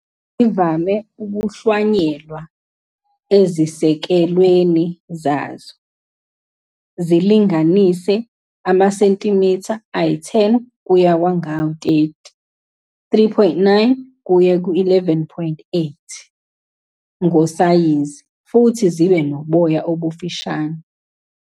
Zivame ukuhlwanyelwa ezisekelweni zazo, zilinganise amasentimitha ayi-10 kuye kwangama-30, 3.9 kuye ku-11.8 in, ngosayizi, futhi zibe noboya obufushane.